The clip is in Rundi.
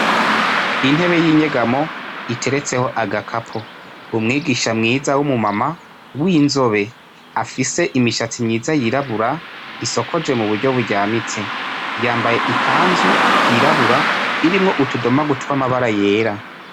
Intebe yinyegamo iteretseho agakapo umwigisha mwiza wumu mama winzobe afise imishatsi myiza yirabura isokoje mu buryo buryamitse yambaye ikanzu yirabura irimwo utudomagu twamabara yera.